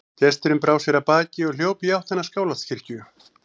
Gesturinn brá sér af baki og hljóp í áttina að Skálholtskirkju.